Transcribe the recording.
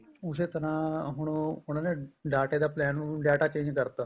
ਉਸੇ ਤਰ੍ਹਾਂ ਹੁਣ ਉਹ ਉਹਨਾ ਦੇ ਡਾਟੇ ਦਾ plain ਹੁਣ data change ਕਰਤਾ